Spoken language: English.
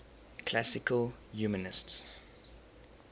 classical humanists